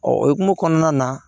Ɔ o hukumu kɔnɔna na